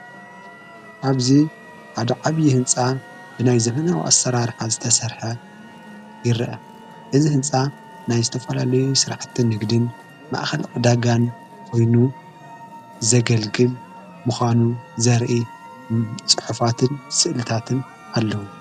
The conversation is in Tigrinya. ኣብዙ ሓደ ዓብዪ ሕንፃ ብናይ ዘመናዊ ኣሠራርሓ ዝተሠርሐ ይርአ እዝ ሕንፃ ናይ ዝተፋላለዩ ሥራሕትን ንግድን ማእኸል ዕዳጋን ኾይኑ ዘገልግል ምዃኑ ዘርኢ ጽሑፋትን ስእልታትን ኣለዉ።